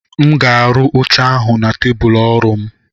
m ga-arụ oche ahụ na tebụl ọrụ m